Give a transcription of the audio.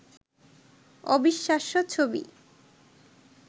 অবিশ্বাস্য ছবি